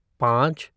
पाँच